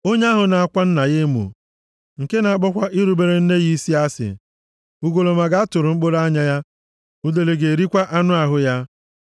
“Onye ahụ na-akwa nna ya emo, nke na-akpọkwa irubere nne ya isi asị, ugolọma ga-atụrụ mkpụrụ anya ya, udele ga-erikwa anụ ahụ ya.